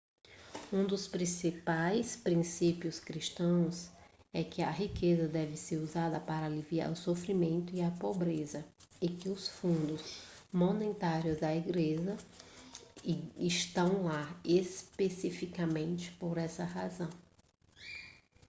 um dos principais princípios cristãos é que a riqueza deve ser usada para aliviar o sofrimento e a pobreza e que os fundos monetários da igreja estão lá especificamente por essa razão